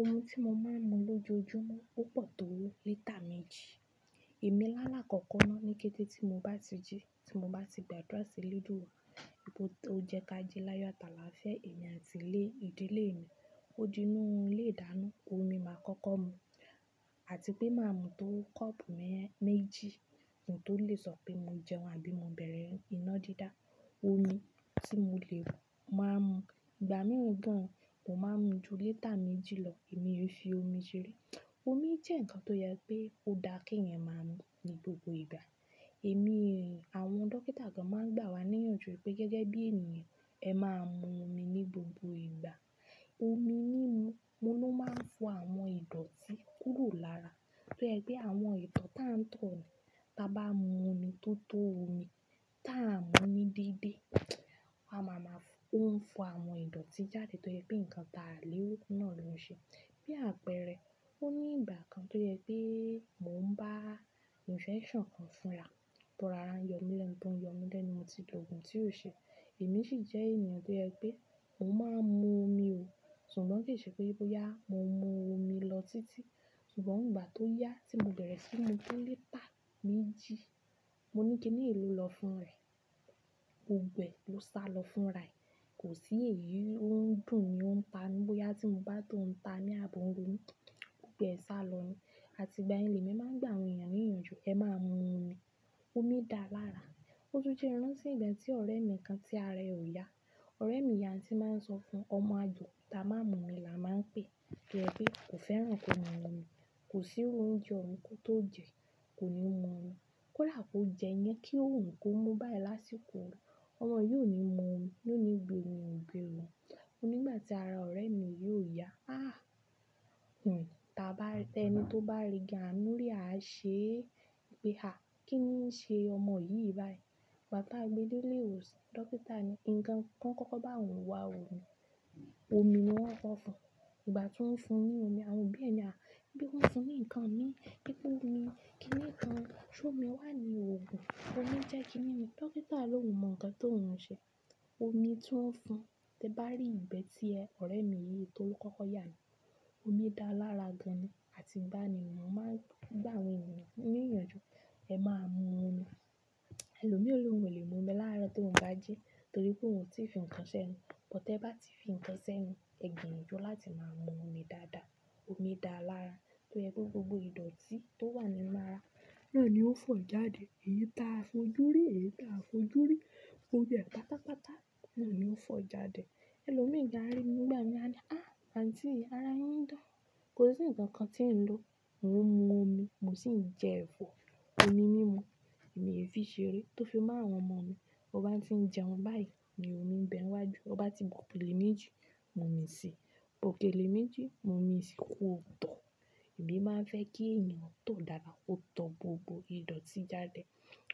Omi tí mo máa ń mu lójoojúmọ́ opọ̀r tó lítà méjì. Ìmí làálàákọkọ náà ní kété tí mo bá ti jí, tí mo bá ti gba adura si elédúwà, nipe tó jẹ ká jí láyọ̀ atà alafia èmi àti ilé ìdílé mi. Ó dínú ilé ìdáná omi máa kọ́kọ́ mu àti pé máa mu tó kọ́ọ̀pù mẹ́jì kí n tó lè sọ pé mo jẹun àbí mo bẹ̀rẹ̀ iná dídá. Omi tí mo lè màá mu. Ìgbà mìíràn gan, mo máa ń mu ju lítà méjì lọ èmi e fi omi ṣeré. Omi jẹ́ ǹkan tó yẹ pé ó dá kí ẹyan máa mu ní gbogbo ìgbà. Ẹ̀mí, àwọn dókítà gan máa ń gbà wá ní ìyanjú pé gẹ́gẹ́ bí ènìyàn ẹ máa mu omi ní gbogbo ìgbà. Omi mímú mu ló máa ń fọ àwọn ìdọ̀tí kúrò lára. Tó yẹ pé àwọn ìtọ̀r táa ń tọ̀o ni, ta bá mu omi tó tó omi tá a mu ní dídé, a máa maa ó ń fọ àwọn ìdọ̀tí jáde tó yẹ pé nǹkan ta léwu náà ló ń ṣe. Bí àpẹẹrẹ, ó ní ìgbà kan tó yẹ pé mò ń bá infection kan fúnra, tó ara ń yọ mí lẹ́nu, tó ń yọ mí lẹ́nu mo ti lo òògùn tí ò ṣe. Èmi sì jẹ́ ènìyàn tó yẹ pé mò máa ń mu omi o, ṣùgbọ́n kì í ṣe pé bóyá mo mu omi lọ títí. Ṣùgbọ́n ìgbà tó yá tí mo bẹ̀rẹ̀ síí mu lítà méjì, mo ní kíniyi n lọ fún rẹ̀. Gbogbo ẹ ló sa lọ fún rẹ̀, kò sí èéyí ó ń dùn ni ó ń ta ní bóyá tí mo bá tó ouń ta mí ààbò ń ro mí. Gbogbo ẹ sá lọ yẹn. Àti ìgbà yẹn lèmi máa ń gbà àwọn ènìyàn ní ìyanjú, ẹ máa mu omi. Omi dà lára. Ó tún jẹ́ rántí ìgbà tí ọ̀rẹ́ mi kan tí ara rẹ̀ ò yá. Ọ̀rẹ́ mi yii a n tí máa ń sọ fún ọmọ àjòkuta máa mu omi la máa ń pè. Tó yẹ pé kò fẹ́ràn ko maa mu omi, kò sí iru oúnjẹ oun ko tó jẹ, kò ní mu omi. Kódà kó jẹ yan kí ó wù kó mú báyìí lásìkò Ọmọ yìí ò ní mu omi, yóò ní ongbé omi ò gbé ọun. Ní ìgbà tí ara ọ̀rẹ́ mi yii ò yá. Ah! Tẹni tó bá rí gan amú rí á ṣe pé, "à, kíni ń ṣe ọmọ yìí báyìí?" Ìgbà tá a gbé dé ilé ìwòsàn, dókítà ni, ǹkan kan kọ́kọ́ bá òun wá òmi, omi ni wọ́n kọ fún un. Ìgbà tí wọ́n ń fún un ní omi àwọn obí ẹ̀ ni, "à, nípe ki wọ́n ń fún mi ní ǹkan min, pe po omi, kíni ǹkan, ṣo omi wá ní òògùn, omi jẹ́ kíni ni?" Dókítà ló oun mọ ǹkan tó ouń ṣe. Omi tí wọ́n ń fún tẹ bá rí ìgbẹ́ tí ẹ̀ ọ̀rẹ́ mi yìí tó kọ́kọ́ yà ni. Omi dà lára gan ni àti íbán ni mọ́ máa ń gbà àwọn ènìyàn ní ìyanjú, ẹ máa mu omi. Ẹlòmí o ni òun lè mu omi láàárọ̀ tó ouń baa jí torí pé òun ò tí fi ǹkan ṣẹ́nu. Bó tẹ bá ti fi ǹkan ṣẹ́nu, ẹ gbinjọ́ láti máa mu omi dáadáa. Omi dà lára, tó yẹ pé gbogbo ìdọ̀tí tó wà nínú ara náà ni ó fọ jáde. Èyí ta a fojú rí, èyí ta a fojú rí, gbóbo e pátápátá náà ni ó fọ jáde. Ẹlòmí gan a rí mi nígbà mìín "à, àǹtí yi, ara yín ń dán. Kò sí ǹkan kan tí ń lo, mò ń mu omi, mò sì ń jẹ ẹ̀fọ́." Omi nínú mi èmi e fi ṣeré tó fi má àwọn ọmọ mi. Ó bá ti ń jẹun báyìí ni omi ń bẹ wájú. Ó bá ti bu òkèlè méjì, mu omi sí i. Òkèlè méjì, mu omi sí i kò tọ̀. Èmi máa ń fẹ́ kí ènìyàn tór dáadáa kó tọ́r gbogbo ìdọ̀tí jáde.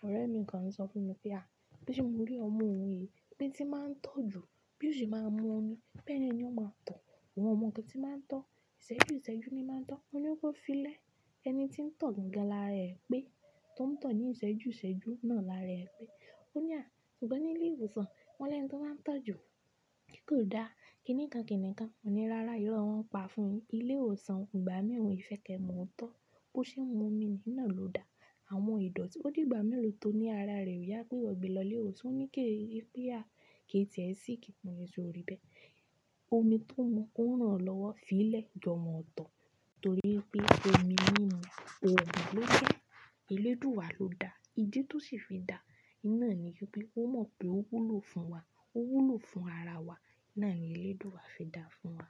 Ọ̀rẹ́ mi kan sọ fún mi pé, "à, pe se mo rí ọmọ òun yìí pé tí máa ń tọ̀ jù bí ó sì máa ń mu omi, bẹ́ẹ̀ ni ọ́n máa ń tọ̀. Ọun ọ mọ nnkan ti máa ń tọ̀, ìṣẹ́jú ìṣẹ́jú ni máa ń tọ̀, mọ́ ni kó fiílẹ̀ ẹni tí ń tọ̀ gan lára ẹ̀ pé tó ń tọ̀ ní ìṣẹ́jú ìṣẹ́jú náà lára ẹ̀ pé." Ó ní, "à, ṣùgbọ́n ní ilé ìwòsàn wọ́n lẹ́nu tó bá tọ̀ jù, pe kò dá, kíni kan kíni kan." Mo ní, "ráárá, irọ́ n wọn pa fún yin. Ilé ìwòsàn oun ìgbà mìín won ì fẹ́ ke man otọ́. Bó ṣe ń mu omi ní nà ló da. Àwọn ìdọ̀tí ó dìgbà mélòó tó ní ara rẹ̀ o yá pé wó gbe lọ ilé ìwòsàn. Ọ́n ní kí a, kí a tìẹ síìkì mọ ni sórí bẹ́ẹ̀. Omi tó ń mu ó n ràn o lọ́wọ́ fiílẹ̀ jọmọ́ ọ̀tọ̀ torí pé omi mímú oógun ló jẹ. Elé dúwà ló da. Ídí tí ó sì fi dá iná ni wípé ó mọ̀ pé ó wúlò fún wa, ó wúlò fún ara wa. Ná ni elé dúwà fi daá fún wa.